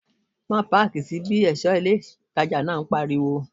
Má páàkì sí bí! ẹ̀ṣọ́ ilé ìtajà náà pariwo